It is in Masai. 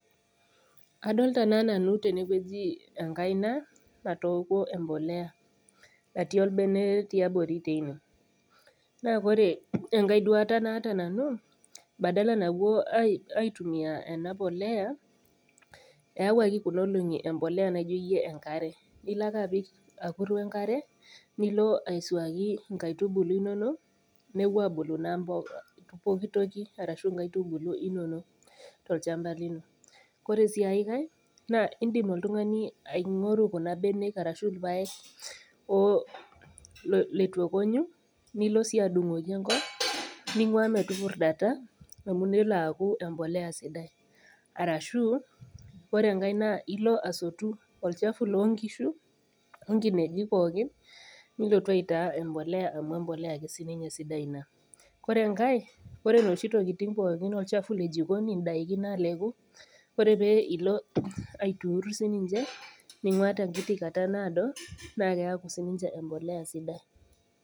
Adolta naa nanu tenewueji enkaina natookuo empoleya natii olbene tiabori teine naa kore enkae duata naata nanu badala napuo aitumia ena poleya eyawuaki kuna olong'i empoleya naijo iyie enkare ilo ake apik akur wenkare nilo aisuaki inkaitubulu inonok nepuo abulu naa pokitoki arashu inkaitubulu inonok tolchamba lino ore sii aekae naa indim oltung'ani aing'oru kuna benek arashu irpayek oh letu ekonyu nilo sii adung'oki enkop ning'ua metupurrdata amu nelo aaku empoleya sidai arashu ore enkae naa ilo asotu olchafu lonkishu onkinejik pookin nilotu aitaa empoleya amu empoleya ake sininye sidai ina kore enkae kore inoshi tokiting pookin olchafu le jikoni indaiki naleku ore pee ilo aiturur sininche ning'ua tenkiti kata naado naa keaku sininche empoleya sidai.